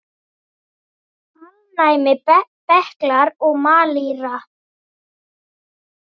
Alnæmi, berklar og malaría